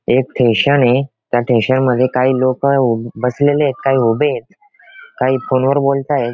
एक स्टेशन ये त्या स्टेशन मध्ये काही लोक बसलेले येत काही उभे येत काही फोन वर बोलत आहेत.